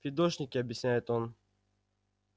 фидошники объясняет он